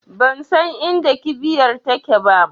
Bansan inda kibiyar take ba